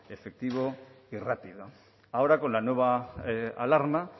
efectivo y rápido ahora con la nueva alarma